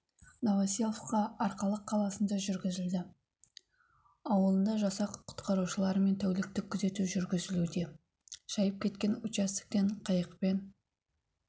новоселовка арқалық қаласында жүргізілді ауылында жасақ құтқарушыларымен тәуліктік күзету жүргізілуде шайып кеткен участоктен қайықпен